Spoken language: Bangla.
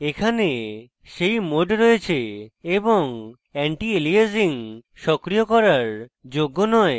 এখানে সেই modes রয়েছে এবং আন্টিএলিয়াসিং সক্রিয় করার যোগ্য নয়